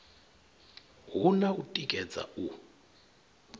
hu na u tikedza u